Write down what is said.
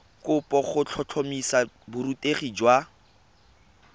kopo go tlhotlhomisa borutegi jwa